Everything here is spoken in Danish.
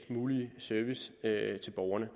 mulige service til borgerne